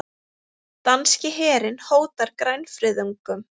Danski herinn hótar grænfriðungum